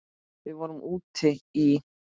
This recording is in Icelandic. Við vorum úti í